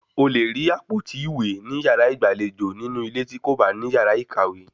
A lè rí àpótí ìwé ní yàrá ìgbàlejò nínú ilé tí kò bá ní yàrá ìkàwé